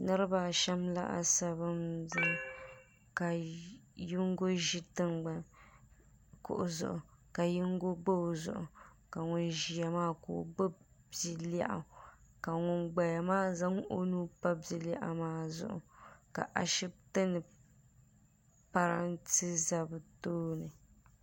niribaashɛm laasabu n zaya ka yingo ʒɛ tɛŋgbani kuɣ' zuɣ ka tingo pa o zuɣ' ka ŋɔ ʒɛya maa gbabi bia lɛɣigu ka ŋɔ gbaya maa zaŋ onupa bia lɛɣigu maa zuɣ ka ashɛtɛni tan ti za be tuuni